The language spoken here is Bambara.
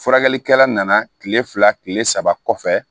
Furakɛlikɛla nana kile fila kile saba kɔfɛ